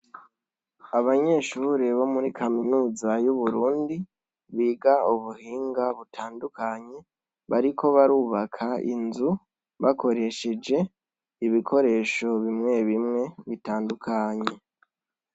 Abanyeshure bo muri kaminuza y' , biga ubuhinga butandukanye, bariko barubaka inzu bakoresheje ibikoresho bimwe bimwe bitandukanye.